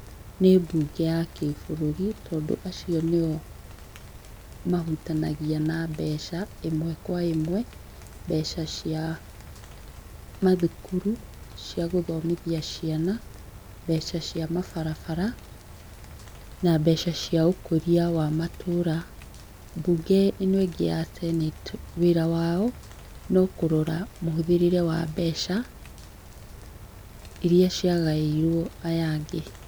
Nĩ mbunge ya kĩbũrũri tondũ acio nĩo mahutanagia na mbeca ĩmwe kwa ĩmwe mbeca cia mathukuru cia gũthomithia ciana, mbeca cia mabarabara na mbeca cĩa ũkũria wa matũra. Mbunge ĩno ĩngĩ ya senate wĩra wao no kũrora mũhũthĩrĩre wa mbeca iria ciagaĩirwo aya angĩ.